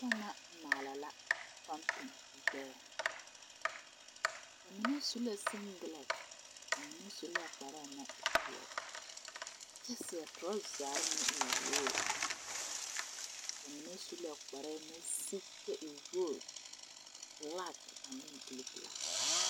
Noba ŋa maala la pompi gbɛɛ ba mine su la sekelɛte ba la su la kpare naŋ e peɛle kyɛ seɛ torazre naŋ e wogri ba mine su la kparre naŋ sigi kyɛ e wogri bilaki ne buluu bilaki.